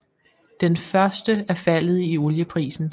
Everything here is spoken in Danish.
Den første er faldet i olieprisen